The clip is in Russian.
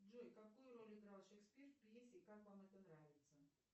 джой какую роль играл шекспир в пьесе как вам это нравится